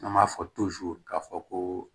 An b'a fɔ k'a fɔ ko